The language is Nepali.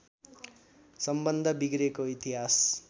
सम्बन्ध बिग्रेको इतिहास